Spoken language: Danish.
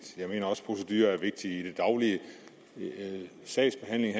jeg mener også at procedurer er vigtige i den daglige sagsbehandling